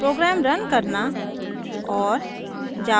program run करना और